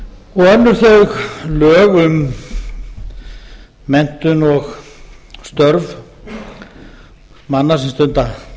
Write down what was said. og önnur þau lög um menntun og störf manna sem stunda